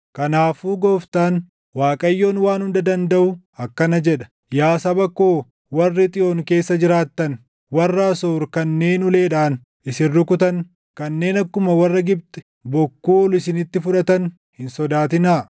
Kanaafuu Gooftaan, Waaqayyoon Waan Hunda Dandaʼu akkana jedha: “Yaa saba koo warri Xiyoon keessa jiraattan, warra Asoor kanneen uleedhaan isin rukutan, kanneen akkuma warra Gibxi bokkuu ol isinitti fudhatan hin sodaatinaa.